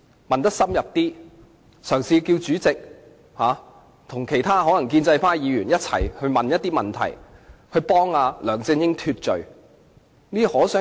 我也可以嘗試叫主席和其他建制派議員提出一些有助你脫罪的問題。